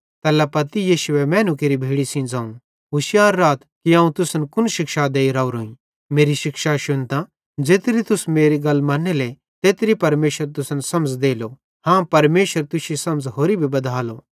तैल्ला पत्ती यीशुए मैनू केरि भीड़ी सेइं ज़ोवं होशियार राथ कि अवं तुसन कुन शिक्षा देइ राओरोईं मेरी शिक्षाई शुन्तां ज़ेत्री तुस मेरी गल मन्नेले तेत्री परमेशर तुसन समझ़ देलो हाँ परमेशर तुश्शी समझ़ होरि भी बधालो